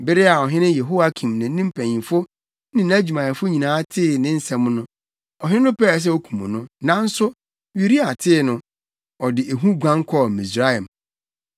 Bere a ɔhene Yehoiakim ne ne mpanyimfo ne nʼadwumayɛfo nyinaa tee ne nsɛm no, ɔhene no pɛɛ sɛ okum no, nanso Uria tee no, ɔde ehu guan kɔɔ Misraim.